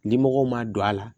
Limɔgɔ ma don a la